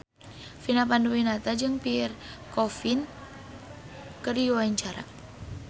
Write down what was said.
Vina Panduwinata jeung Pierre Coffin keur dipoto ku wartawan